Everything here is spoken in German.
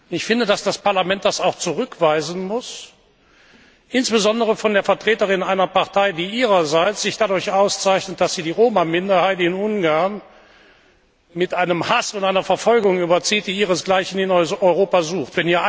Ich finde, dass das Parlament das auch zurückweisen muss, insbesondere von der Vertreterin einer Partei, die sich ihrerseits dadurch auszeichnet, dass sie die Roma Minderheit in Ungarn mit einem Hass und einer Verfolgung überzieht, die ihresgleichen in Europa sucht.